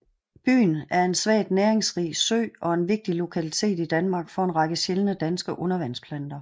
Byn er en svagt næringsrig sø og en vigtig lokalitet i Danmark for en række sjældne danske undervandsplanter